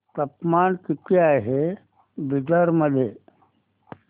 तापमान किती आहे बिदर मध्ये